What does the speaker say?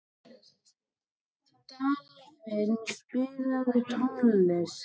Dalvin, spilaðu tónlist.